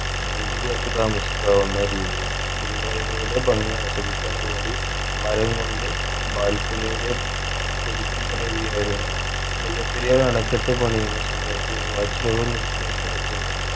രണ്ടുപേർക്കു താമസിക്കാവുന്ന രീതിയിൽ പുൽമേടുകളുടെ ഭംഗി ആസ്വദിക്കാൻ വേണ്ടി മരം കൊണ്ട് balcony യുടെ പുതുക്കി പണിയുകയായിരുന്നു മുല്ലപെരിയാർ അണകെട്ട് പണിയുന്ന സമയത്ത് watch tower നിൽക്കുന്ന സ്ഥലത്തിനും